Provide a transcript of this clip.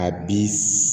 A bi